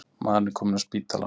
Maðurinn er kominn af spítala.